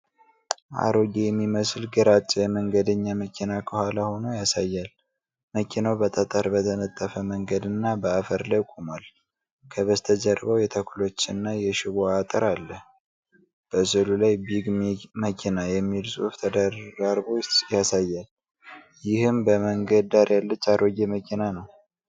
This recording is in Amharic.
አሮጌ የሚመስል ግራጫ የመንገደኛ መኪና ከኋላ ሆኖ ያሳያል። መኪናው በጠጠር በተነጠፈ መንገድና በአፈር ላይ ቆሟል። ከበስተጀርባው የተክሎችና የሽቦ አጥር አለ። በሥዕሉ ላይ “Big mekina” የሚል ጽሑፍ ተደራርቦ ይታያል። ይህም በመንገድ ዳር ያለች አሮጌ መኪና ነው።